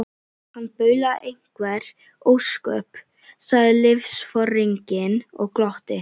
Hann baulaði einhver ósköp, sagði liðsforinginn og glotti.